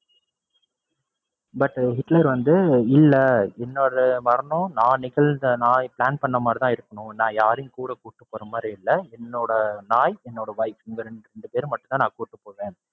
but Hitler வந்து இல்ல என்னோட மரணம் நான் நிகழ்ந்த, நான் plan பண்ண மாதிரிதான் இருக்கணும். நான் யாரையும் கூட கூட்டி போறமாதிரி இல்ல. என்னோட நாய், என்னோட wife இந்த ரெண்டு ரெண்டு பேர மட்டும் தான் நான் கூட்டிப்போவேன்.